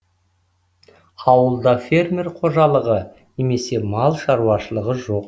ауылда фермер қожалығы немесе мал шаруашылығы жоқ